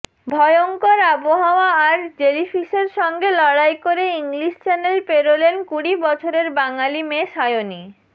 ভয়ংকর আবহাওয়া আর জেলিফিশের সঙ্গে লড়াই করে ইংলিশ চ্যানেল পেরোলেন কুড়ি বছরের বাঙালি মেয়ে সায়নী